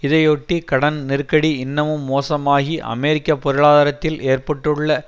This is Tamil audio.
இதையொட்டி கடன் நெருக்கடி இன்னமும் மோசமாகி அமெரிக்க பொருளாதாரத்தில் ஏற்பட்டுள்ள